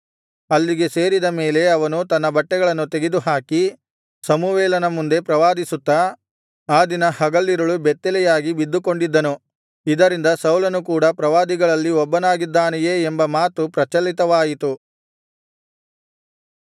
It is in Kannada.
ಅಲ್ಲಿಗೆ ಸೇರಿದ ಮೇಲೆ ಅವನು ತನ್ನ ಬಟ್ಟೆಗಳನ್ನು ತೆಗೆದುಹಾಕಿ ಸಮುವೇಲನ ಮುಂದೆ ಪ್ರವಾದಿಸುತ್ತಾ ಆ ದಿನ ಹಗಲಿರುಳು ಬೆತ್ತಲೆಯಾಗಿ ಬಿದ್ದುಕೊಂಡಿದ್ದನು ಇದರಿಂದ ಸೌಲನೂ ಕೂಡ ಪ್ರವಾದಿಗಳಲ್ಲಿ ಒಬ್ಬನಾಗಿದ್ದಾನೆಯೇ ಎಂಬ ಮಾತು ಪ್ರಚಲಿತವಾಯಿತು